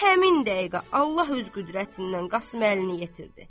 Həmin dəqiqə Allah öz qüdrətindən Qasım Əlini yetirdi.